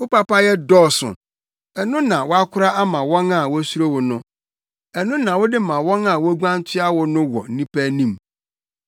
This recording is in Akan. Wo papayɛ dɔɔso, ɛno na woakora ama wɔn a wosuro wo no ɛno na wode ma wɔn a woguan toa wo no wɔ nnipa anim.